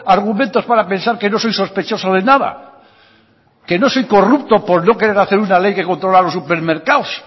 argumentos para pensar que no soy sospechoso de nada que no soy corrupto por no querer hacer una ley que controla los supermercados